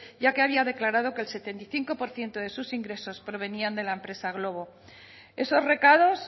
ya que había declarado que el setenta y cinco por ciento de sus ingresos provenían de la empresa glovo esos recados